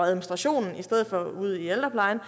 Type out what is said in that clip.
administrationen i stedet for ude i ældreplejen